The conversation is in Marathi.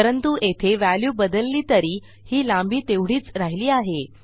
परंतु येथे व्हॅल्यू बदलली तरी ही लांबी तेवढीच राहिली आहे